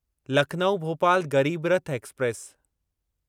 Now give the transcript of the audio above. Lucknow Bhopal Garib Rath express